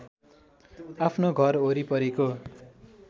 आफ्नो घर घरवरिपरिको